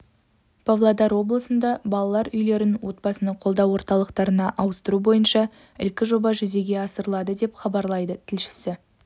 павлодар облысында балалар үйлерін отбасыны қолдау орталықтарына ауыстыру бойынша ілкі жоба жүзеге асырылады деп хабарлайды тілшісі